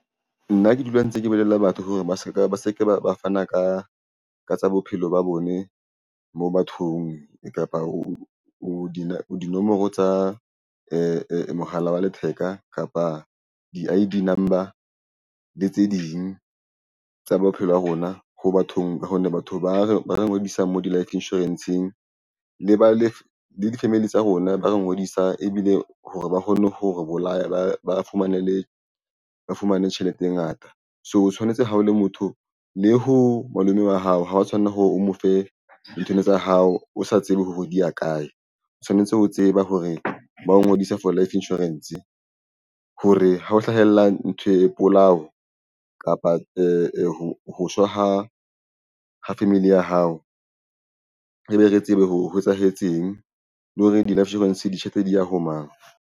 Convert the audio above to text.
Nna ke dula ntse ke bolelle batho hore ba se ke ba fana ka tsa bophelo ba bone mo bathong re kapa o dinomoro tsa mohala wa letheka kapa di-I_D number le tse ding tsa bophelo ya rona ho bathong ba hona. Batho ba re ngodisa mo di-life insurance-ng le ba le di-family tsa rona ba re ngodisa ebile hore ba kgone ho re bolaya ba fumane le re fumane tjhelete e ngata. So, tshwanetse ha o le motho le ho malome wa hao. Ha wa tshwanela hore o mo fe nthweno tsa hao o sa tsebe ho hodisa kae. O tshwanetse ho tseba hore bao ngodisa for life insurance ho re ha o hlahella ntho e polao kapa ho tloha ho family ya hao ebe re tsebe hore ho etsahetseng le hore di-life insurance di tjhaetse di ya ho mang.